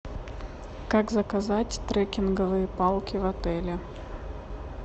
как заказать трекинговые палки в отеле